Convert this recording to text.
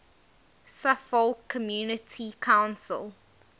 suffolk community council